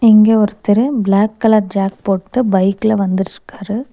இங்க ஒருத்தரு black colour ஜேக் போட்டு பைக்ல வந்துட்ருக்காரு.